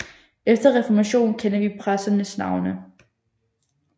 Efter reformationen kender vi præsternes navne